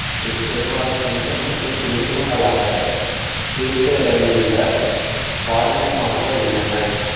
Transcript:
இவை பெரும்பாலும் எண்ணெய் மற்றும் நீர்மங்களாக பிரிகையைடந்துள்ள பால்மமாக உள்ளன